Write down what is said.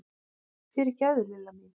Fyrirgefðu, Lilla mín!